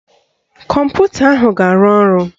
Kọmputa ahụ ga-arụ ọrụ